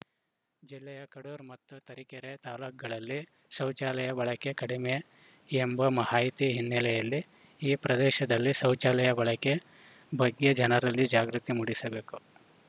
ಜಿಲ್ಲೆಯ ಕಡೂರು ಮತ್ತು ತರೀಕೆರೆ ತಾಲೂಕುಗಳಲ್ಲಿ ಶೌಚಾಲಯ ಬಳಕೆ ಕಡಿಮೆ ಎಂಬ ಮಾಹಿತಿ ಹಿನ್ನೆಲೆಯಲ್ಲಿ ಈ ಪ್ರದೇಶದಲ್ಲಿ ಶೌಚಾಲಯ ಬಳಕೆ ಬಗ್ಗೆ ಜನರಲ್ಲಿ ಜಾಗೃತಿ ಮೂಡಿಸಬೇಕು